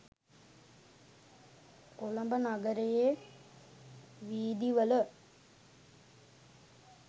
කොළඹ නගරයේ වීදි වල